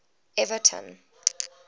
everton